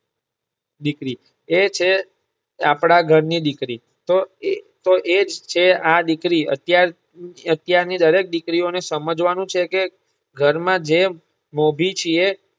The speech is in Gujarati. દીકરી એ છે આપડા ઘર ની દીકરી તો એ તો એ જ છે આ દીકરી અત્યાર અત્યારની દરેક દીકરીઓ ને સમજવવાનું છે કે ઘર માં જે મોભી છે